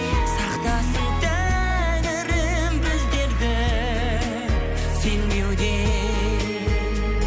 сақтасын тәңірім біздерді сенбеуден